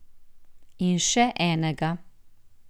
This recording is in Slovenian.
In še enega.